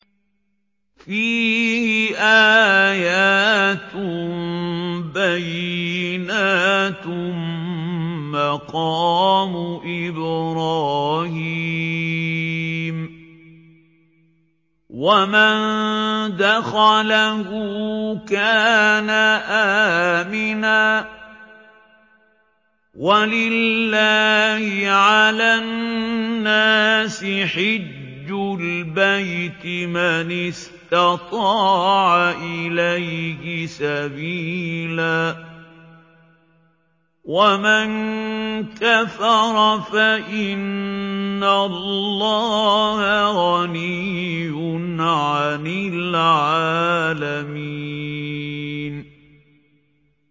فِيهِ آيَاتٌ بَيِّنَاتٌ مَّقَامُ إِبْرَاهِيمَ ۖ وَمَن دَخَلَهُ كَانَ آمِنًا ۗ وَلِلَّهِ عَلَى النَّاسِ حِجُّ الْبَيْتِ مَنِ اسْتَطَاعَ إِلَيْهِ سَبِيلًا ۚ وَمَن كَفَرَ فَإِنَّ اللَّهَ غَنِيٌّ عَنِ الْعَالَمِينَ